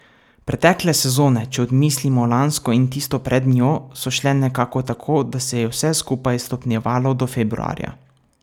Pretekle sezone, če odmislimo lansko in tisto pred njo, so šle nekako tako, da se je vse skupaj stopnjevalo do februarja.